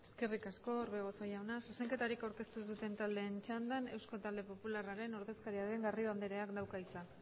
eskerrik asko orbegozo jauna zuzenketarik aurkeztu duten taldeen txandan eusko talde popularraren ordezkaria den garrido andereak dauka hitza